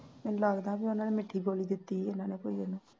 ਮੈਨੂੰ ਲੱਗਦਾ ਬਈ ਉਹਨਾਂ ਨੇ ਮਿੱਠੀ ਗੋਲ਼ੀ ਦਿਤੀ ਆ ਇਨ੍ਹਾਂ ਨੇ ਕੋਈ ਉਹਨੂੰ